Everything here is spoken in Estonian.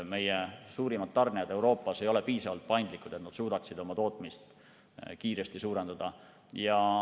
Meie suurimad tarnijad Euroopas ei ole piisavalt paindlikud, et nad suudaksid oma tootmist kiiresti suurendada.